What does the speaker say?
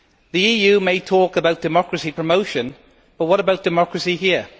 The EU may talk about democracy promotion, but what about democracy here?